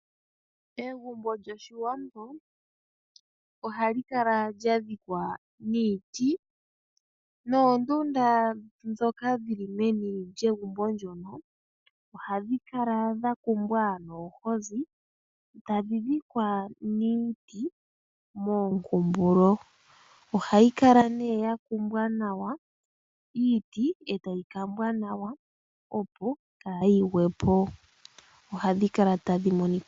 Egumbo lyoshiwambo ohali kala lyadhikwa niiti. Noondunda dhoka dhili meni lyegumbo ndjono ohadhi kala dha kumbwa noohozi tadhi dhikwa niiti moonkumbulo. Ohayi kala nee ya kumbwa nawa iiti etayi kambwa nawa opo kaadhi gwepo.